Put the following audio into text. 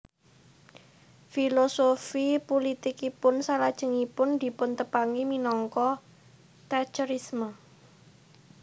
Filosofi pulitikipun salajengipun dipuntepangi minangka Thatcherisme